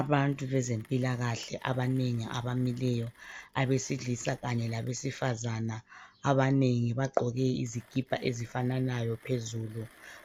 Abantu bezempilakahle abanengi abamileyo, abesilisa kanye labesifazana abanengi bagqoke izikipa ezifananayo phezulu.